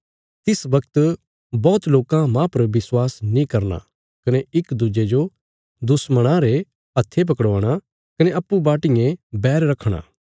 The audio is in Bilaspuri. तिस बगत बौहत लोकां माह पर विश्वास नीं करना कने इक दुज्जे जो दुश्मणां रे हत्थे पकड़वाणा कने अप्पूँ बाटियें बैर रखणा